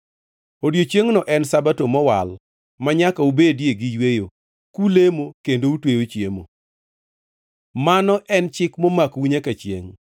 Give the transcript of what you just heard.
Odiechiengno en Sabato mowal manyaka ubedie gi yweyo, kulemo kendo utweyo chiemo. Mano en chik momakou nyaka chiengʼ.